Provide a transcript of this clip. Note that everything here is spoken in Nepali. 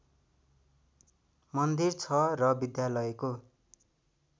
मन्दिर छ र विद्यालयको